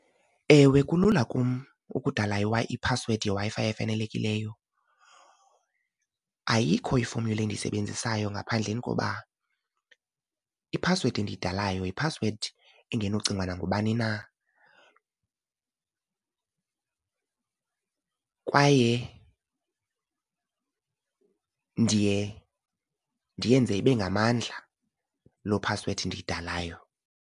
Ewe, kulula kum ukudala i-password yeWi-Fi efanelekileyo. Ayikho i-formula endiyisebenzisayo ngaphandleni koba i-password endiyidalayo yi-password engenocingwa nangubani na kwaye ndiye ndiyenze ibe ngamandla loo password ndiyidalayo.